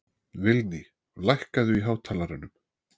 Vilný, lækkaðu í hátalaranum.